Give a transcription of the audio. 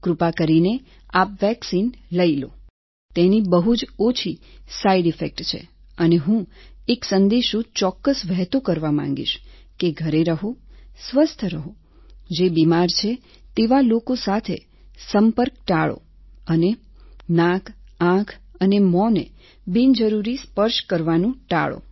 કૃપા કરીને આપ વેક્સિન લઈ લો તેની બહુ જ ઓછી સાઈડ ઈફેક્ટ છે અને હું એક સંદેશો ચોક્કસ વહેતો કરવા માંગીશ કે ઘરે રહો સ્વસ્થ રહો જે બિમાર છે તેવા લોકો સાથે સંપર્ક ટાળો અને નાક આંખ અને મોં ને બિનજરૂરી સ્પર્શ કરવાનું ટાળો